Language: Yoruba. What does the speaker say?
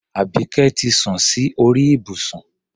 Àbíké ti sun sí orí ìbùsùn.